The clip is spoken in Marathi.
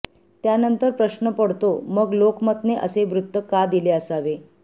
त्यानंतर प्रश्न पडतो मग लोकमतने असे वृत्त का दिले असावे